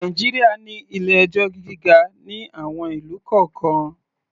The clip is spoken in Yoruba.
Nàìjíríà ní ilé-ẹjọ́ gíga ní àwon ìlú kọ̀ọ́kan.